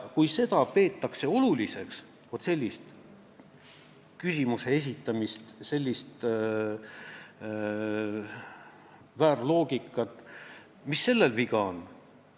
Kui sellist küsimuse esitamist, sellist väära loogikat peetakse oluliseks, siis mis sellel praegu viga on?